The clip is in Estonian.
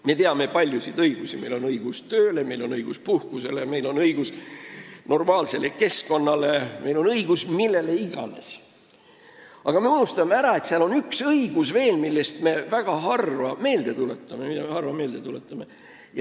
Me teame paljusid õigusi – meil on õigus tööle, meil on õigus puhkusele, meil on õigus normaalsele keskkonnale, meil on õigus millele iganes –, aga me unustame ära, et on veel üks õigus, mida me harva meelde tuletame.